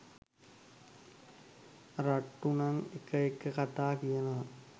රට්‍ටු නං එක එක කතා කියනව.